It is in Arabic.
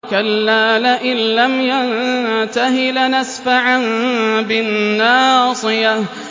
كَلَّا لَئِن لَّمْ يَنتَهِ لَنَسْفَعًا بِالنَّاصِيَةِ